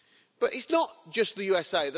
But it's not just the USA